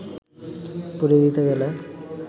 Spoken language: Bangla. পুড়িয়ে দিতে গেলে